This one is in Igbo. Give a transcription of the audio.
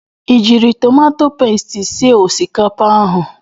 I jiiri tomato pesti sie osikapa ahụ?